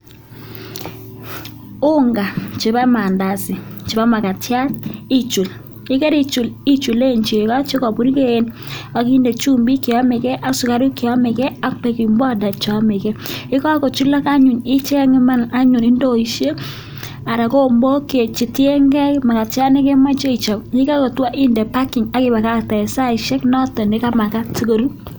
Unga chebo maandazi chebo magatiat ichul, ye kerichul ichulen chego che kobuurgei ak inde chumbik che yomegen ak sugaruk che yomege ak baking powder che yomege. Ye kagochulok anyun icheng iman anyun indoisiek anan kigombok che tienge magatiat ne kemoche ichob. Ye kagotwo inde parking ak ibakagte en saisek choto chemagat asikorur.